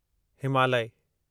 Himalaya